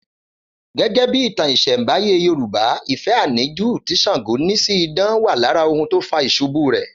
Gẹ́gẹ́ bí ìtàn ìsẹ̀nbáyé Yorùbá, ìfẹ́ àníjù tí Ṣàngó ní sí idán wà lára ohun tó fà ìṣubú rẹ̀